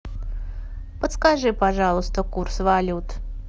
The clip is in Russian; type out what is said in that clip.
подскажи пожалуйста курс валют